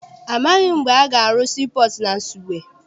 Amaghị m mgbe a ga-arụ sii pọọtụ na Nsugbe.